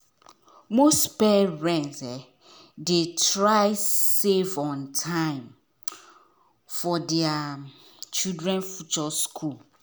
most parent dey try save on time for there um children future school.